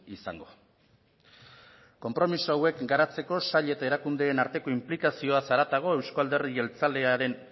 izango konpromiso hauek garatzeko sail eta erakundeen arteko inplikazioaz haratago euzko alderdi jeltzalean